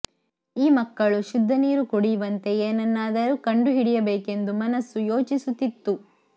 ಈ ಮಕ್ಕಳು ಶುದ್ಧ ನೀರು ಕುಡಿಯುವಂತೆ ಏನನ್ನಾದರೂ ಕಂಡು ಹಿಡಿಯಬೇಕೆಂದು ಮನಸ್ಸು ಯೋಚಿಸುತ್ತಿತ್ತು